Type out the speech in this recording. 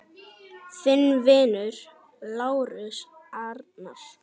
Þinn vinur, Lárus Arnar.